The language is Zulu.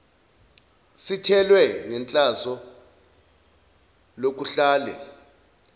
sithelwe ngehlazo lokuhlale